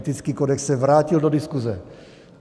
Etický kodex se vrátil do diskuze.